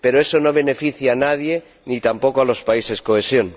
Pero eso no beneficia a nadie ni tampoco a los países cohesión.